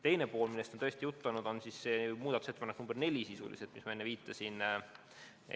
Teine pool, millest on ka juttu olnud, on sisuliselt muudatusettepanek nr 4, millele ma enne viitasin.